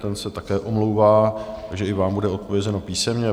Ten se také omlouvá, takže i vám bude odpovězeno písemně.